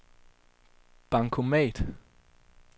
bankomat